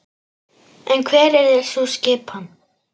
En hver yrði sú skipan?